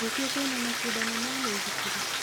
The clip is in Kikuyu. Rũciũ kwĩna macindano ma mĩithikiri?